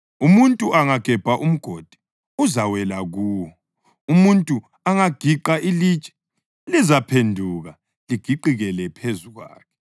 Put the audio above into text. Umuntu angagebha umgodi, uzawela kuwo; umuntu angagiqa ilitshe, lizaphenduka ligiqikele phezu kwakhe.